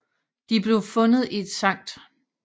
De blev fundet i et Sct